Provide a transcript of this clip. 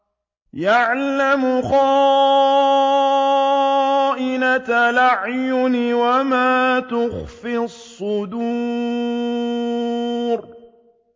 يَعْلَمُ خَائِنَةَ الْأَعْيُنِ وَمَا تُخْفِي الصُّدُورُ